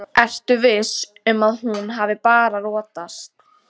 Ertu viss um að hún hafi bara rotast.